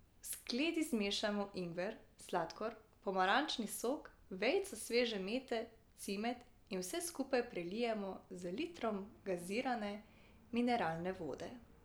V skledi zmešamo ingver, sladkor, pomarančni sok, vejico sveže mete, cimet in vse skupaj prelijemo z litrom gazirane mineralne vode.